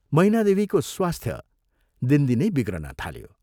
मैनादेवीको स्वास्थ्य दिनदिनै बिग्रन थाल्यो।